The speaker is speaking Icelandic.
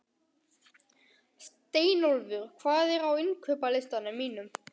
Steinólfur, hvað er á innkaupalistanum mínum?